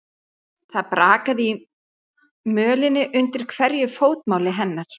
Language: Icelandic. Það brakaði í mölinni undir hverju fótmáli hennar.